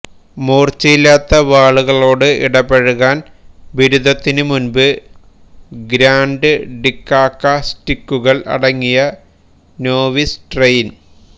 മൂർച്ചയില്ലാത്ത വാളുകളോട് ഇടപഴകാൻ ബിരുദത്തിന് മുൻപ് ഗ്രാൻഡ് ഗിക്കാക്ക സ്റ്റിക്കുകൾ അടങ്ങിയ നോവീസ് ട്രെയിൻ